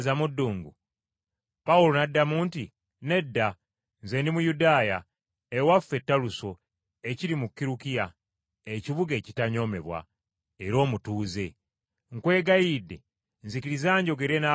Pawulo n’addamu nti, “Nedda, nze ndi Muyudaaya, ewaffe Taluso ekiri mu Kirukiya, ekibuga ekitanyoomebwa, era omutuuze. Nkwegayiridde nzikiriza njogere n’abantu bano.”